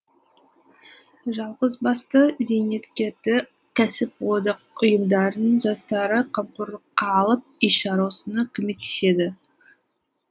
жалғызбасты зейнеткерді кәсіподақ ұйымдарының жастары қамқорлыққа алып үй шаруасына көмектеседі